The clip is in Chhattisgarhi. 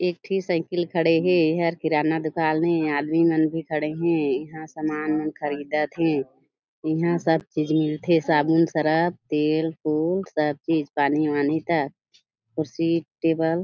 एक ठी साइकिल खड़े हे एहर किराना दुकान ए आदमी मन भी खड़े हे इहा सामान मन ख़रीदत हे इहा सब चीज़ मिलथे साबुन सरफ तेल फूल सब चीज़ पानी-वानी तक कुर्सी टेबल --